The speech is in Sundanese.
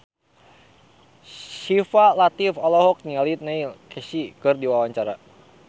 Syifa Latief olohok ningali Neil Casey keur diwawancara